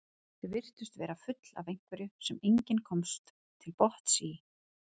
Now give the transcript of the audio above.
Þau virtust vera full af einhverju sem enginn komst til botns í.